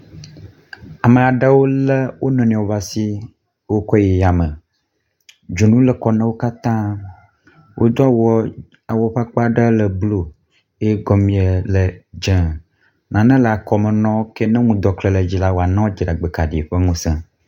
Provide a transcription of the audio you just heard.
Ame aɖewo lé wo nɔnɔewo ƒe asi wokɔe yi yame, dzonu le kɔ na wo katã. Wodo awua awu ƒe akpa ɖe le blu eye gɔmee le dze nane le kɔme na wo ke nyɔnu ke nɔnu dɔke le dzilawa nɔ dziɖegbekaɖi ƒe ŋusẽ wa.